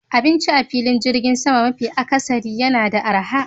Abinci a filin jirgin sama mafi akasari yana da arha